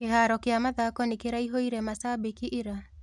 Kĩharo kia mathako nĩkĩraihũrire macambĩki ira?